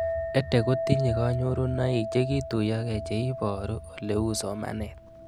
EdTech kotinye kanyorunoik chekituyokei che iparu olee uu somanet